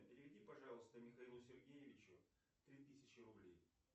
переведи пожалуйста михаилу сергеевичу три тысячи рублей